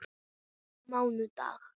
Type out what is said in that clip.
Fyrir mánudag?